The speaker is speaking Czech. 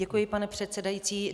Děkuji, pane předsedající.